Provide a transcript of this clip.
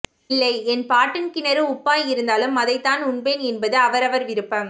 இல்லை என் பாட்டன் கிணறு உப்பாய் இருந்தாலும் அதைதான் உண்பேன் என்பது அவர்ரவர் விருப்பம்